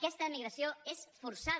aquesta emigració és forçada